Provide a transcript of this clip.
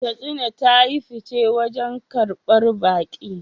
Katsina ta yi fice wajen karbar baƙi